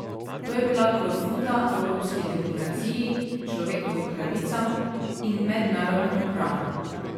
To je bila klofuta evropski demokraciji, človekovim pravicam in mednarodnemu pravu.